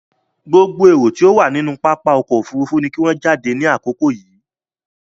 Gbogbo erò tó wà nínú pápá ọkọ̀ òfurufú náà ni kí wọ́n jáde ní àkókò yìí!